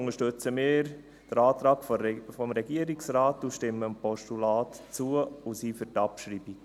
Deshalb unterstützen wir den Antrag des Regierungsrates, stimmen dem Postulat zu und sind für die Abschreibung.